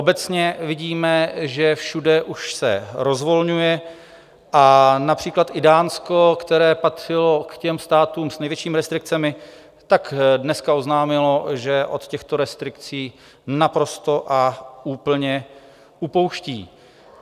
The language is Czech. Obecně vidíme, že všude už se rozvolňuje, a například i Dánsko, které patřilo k těm státům s největšími restrikcemi, tak dneska oznámilo, že od těchto restrikcí naprosto a úplně upouští.